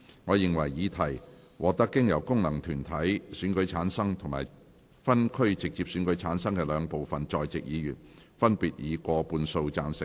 我認為議題獲得經由功能團體選舉產生及分區直接選舉產生的兩部分在席議員，分別以過半數贊成。